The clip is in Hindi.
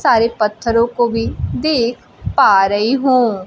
सारे पत्थरों को भी देख पा रही हूं।